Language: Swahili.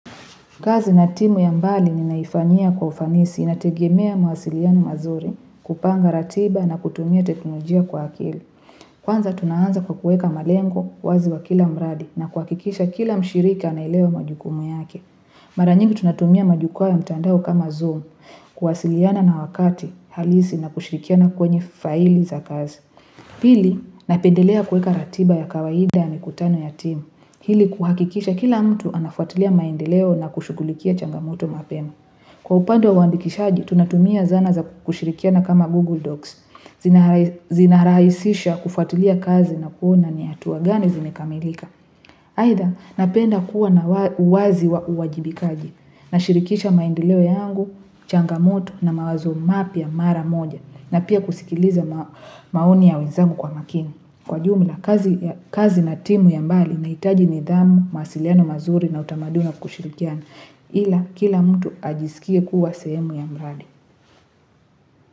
Kazi na timu ya mbali ninaifanyia kwa ufanisi. Inategemea mwasiliano mazuri, kupanga ratiba na kutumia teknolojia kwa akili. Kwanza tunaanza kwa kuweka malengo wazi wa kila mradi na kuhakikisha kila mshirika anaelewa majukumu yake. Mara nyingi tunatumia majukwaa ya mtandao kama Zoom, kuwasiliana na wakati, halisi na kushrikiana kwenye faili za kazi. Pili napendelea kuweka ratiba ya kawaida, mikutano ya timu, ili kuhakikisha kila mtu anafuatiliya maendeleo na kushughulikia changamoto mapema. Kwa upande wa uandikishaji tunatumia zana za kushirikiana kama Google Docs, zinarahisisha kufuatiliya kazi na kuona ni hatua gani zimekamilika. Aidha napenda kuwa na uwazi wa uwajibikaji. Nashirikisha maendeleo yangu changamoto na mawazo mapya mara moja na pia kusikiliza maoni ya wenzangu kwa makini. Kwa jumla kazi na timu ya mbali inahitaji nidhamu, mawasiliano mazuri na utamaduni wa kushirikiana, ila kila mtu ajisikie kuwa sehemu ya mradi.